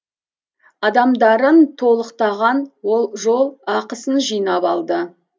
адамдарын толықтаған ол жол ақысын жинап алды